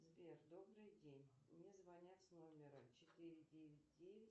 сбер добрый день мне звонят с номера четыре девять девять